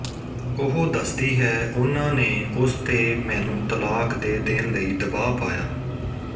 ਉਹ ਦੱਸਦੀ ਹੈ ਉਨ੍ਹਾਂ ਨੇ ਉਸ ਤੇ ਮੈਨੂੰ ਤਲਾਕ ਦੇ ਦੇਣ ਲਈ ਦਬਾਅ ਪਾਇਆ